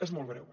és molt greu